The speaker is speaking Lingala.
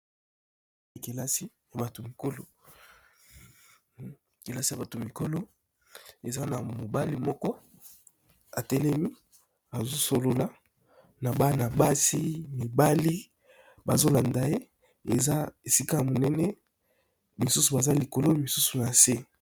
Bilili oyo tozali komona, ezali bongo ndaku moko ya munene, pe ndaku ezali bongo kelasi